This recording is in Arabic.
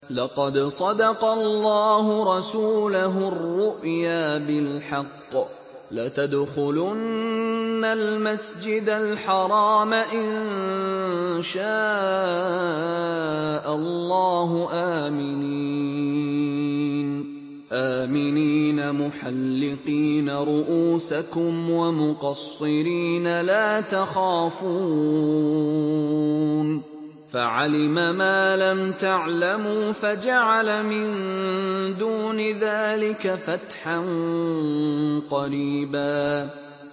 لَّقَدْ صَدَقَ اللَّهُ رَسُولَهُ الرُّؤْيَا بِالْحَقِّ ۖ لَتَدْخُلُنَّ الْمَسْجِدَ الْحَرَامَ إِن شَاءَ اللَّهُ آمِنِينَ مُحَلِّقِينَ رُءُوسَكُمْ وَمُقَصِّرِينَ لَا تَخَافُونَ ۖ فَعَلِمَ مَا لَمْ تَعْلَمُوا فَجَعَلَ مِن دُونِ ذَٰلِكَ فَتْحًا قَرِيبًا